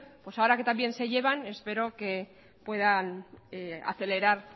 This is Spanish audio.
pues ahora que tan bien se llevan pues espero que puedan acelerar